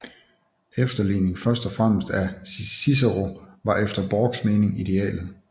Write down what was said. Efterligning først og fremmest af Cicero var efter Borchs mening idealet